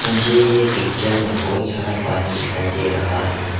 मुझे यह पिक्चर में बहुत सारा पानी दिखाई दे रहा है।